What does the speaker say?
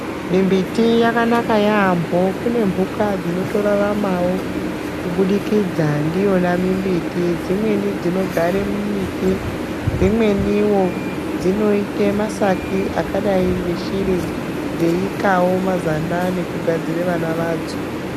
Mimbiti dzakanakawo kune mbuka dzinotoraramawo kubudikidza ndiwona mimbiti dzimweni dzinogara mumbiti dzimweni dzinoitawo masaki akadai ngeshiri dzeikawo neshiri akadai neshiri dzeikawo mazanda nekugadzira vana vadzo.